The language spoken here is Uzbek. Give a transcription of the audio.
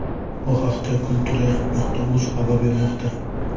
Bu haqda Kultura.uz xabar bermoqda .